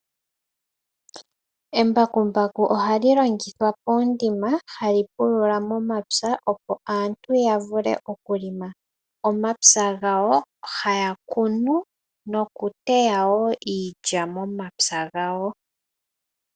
Embakumbaku oha li longithwa poondima ha li pulula momapya opo aantu ya vule okulonga omapya gawo haya kunu nokuteyawo iilya momapya gawo.